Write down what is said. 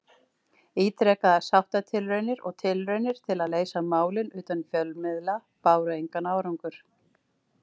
Ítrekaðar sáttatilraunir og tilraunir til að leysa málin utan fjölmiðla báru engan árangur.